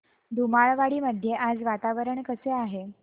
धुमाळवाडी मध्ये आज वातावरण कसे आहे